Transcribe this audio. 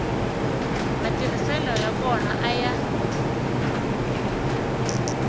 matirhiselo ya kona a ya